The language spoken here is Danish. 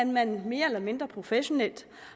man mere eller mindre professionelt